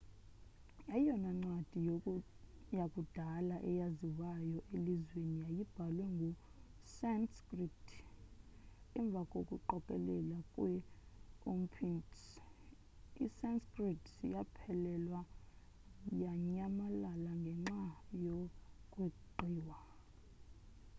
eyona ncwadi yakudala eyaziwayo elizweni yayibhalwe nge-sanskrit emva koqokelelo kwe-upinshads i-sanskrit yaphelelwa yanyamalala ngenxa yokweqiwa